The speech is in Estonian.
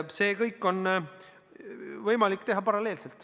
Seda kõike on võimalik teha paralleelselt.